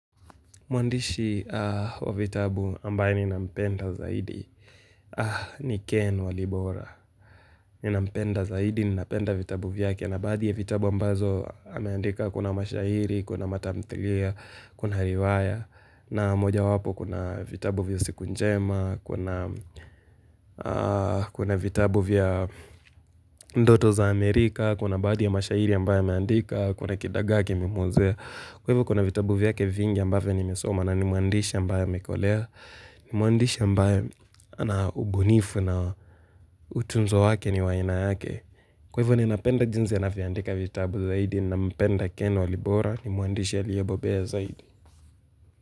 Mwandishi wa vitabu ambaye ni nampenda zaidi. Ni Ken Walibora. Ni nampenda zaidi, ni napenda vitabu vyake na baadhi ya vitabu ambazo ameandika kuna mashahiri, kuna matamthilia, kuna riwaya. Na moja wapo kuna vitabu vya siku njema, kuna vitabu vya ndoto za Amerika, kuna baadhi ya mashahiri ambaye ameandika, kuna kidagaa kimemwozea. Kwa hivyo kuna vitabu vyake vingi ambaye nimesoma na ni muandisha ambaye amekolea, ni muandisha ambaye ana ubunifu na utunzo wake ni wa ainayake. Kwa hivyo ninapenda jinsi anavyandika vitabu zaidi, ni napenda ken walibora, ni muandisha liyebobe zaidi.